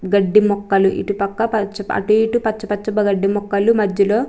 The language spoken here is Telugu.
గడ్డి మొక్కలు ఇటు పక్క పచ్చ-అటుఇటు పచ్చ పచ్చ గడ్డి మొక్కలు మద్దిలో --